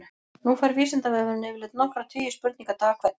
Nú fær Vísindavefurinn yfirleitt nokkra tugi spurninga dag hvern.